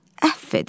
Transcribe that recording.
Əff edin.